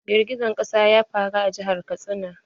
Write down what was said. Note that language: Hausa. Girgijen ƙasa ya faru a jihar Katsina.